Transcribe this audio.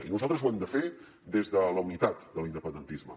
i nosaltres ho hem de fer des de la unitat de l’independentisme